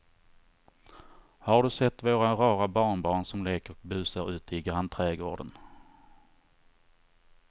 Har du sett våra rara barnbarn som leker och busar ute i grannträdgården!